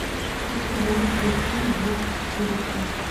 курсы валют в россии двести четыреста